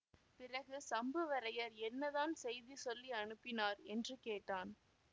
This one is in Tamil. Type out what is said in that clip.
பிறகு சம்புவரையர் என்னதான் செய்தி சொல்லி அனுப்பினார் என்று கேட்டான்